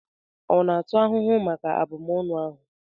Ọ na-atụ ahụhụ maka abụmọnụ ahụ?